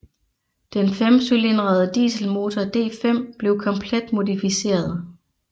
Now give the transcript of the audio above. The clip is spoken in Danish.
Den femcylindrede dieselmotor D5 blev komplet modificeret